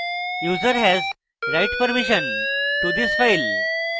user has write permission to this file